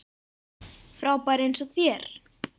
Frábær eins og þér.